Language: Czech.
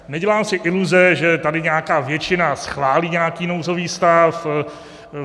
Nedělám si iluze, že tady nějaká většina schválí nějaký nouzový stav.